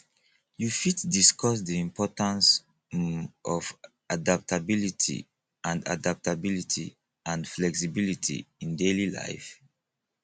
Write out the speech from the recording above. you fit discuss di importance um of adaptability and adaptability and flexibility in daily life